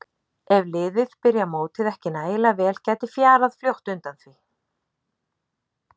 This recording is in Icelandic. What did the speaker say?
Ef liðið byrjar mótið ekki nægilega vel gæti fjarað fljótt undan hjá því.